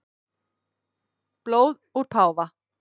Blóð úr páfa